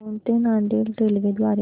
दौंड ते नांदेड रेल्वे द्वारे